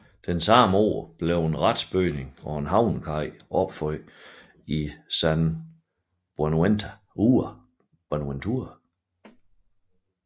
Samme år blev en retsbygning og havnekaj opført i San Buenaventura